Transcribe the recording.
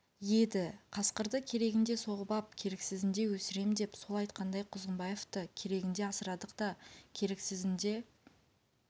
еді қасқырды керегінде соғып ап керексізінде өсірем деп сол айтқандай құзғынбаевты керегінде асырадық та керексізінде